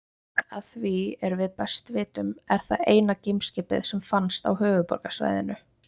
Að því er við best vitum er það eina geimskipið sem finnst á Höfuðborgarsvæðinu.